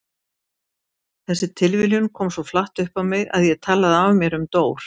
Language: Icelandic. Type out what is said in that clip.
Þessi tilviljun kom svo flatt upp á mig að ég talaði af mér um Dór.